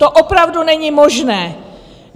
To opravdu není možné!